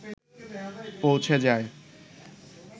পৌঁছে যায়